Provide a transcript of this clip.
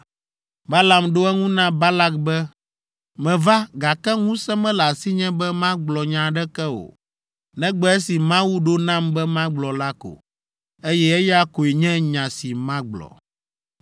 Balaam ɖo eŋu na Balak be, “Meva, gake ŋusẽ mele asinye be magblɔ nya aɖeke o, negbe esi Mawu ɖo nam be magblɔ la ko, eye eya koe nye nya si magblɔ.”